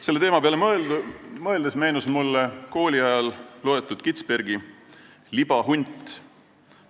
Selle teema peale mõeldes meenus mulle kooliajal loetud Kitzbergi "Libahunt".